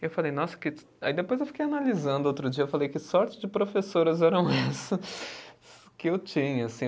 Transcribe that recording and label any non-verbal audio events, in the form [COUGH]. E eu falei, nossa, que. Aí depois eu fiquei analisando outro dia, eu falei, que sorte de professoras eram essas [LAUGHS] que eu tinha, assim.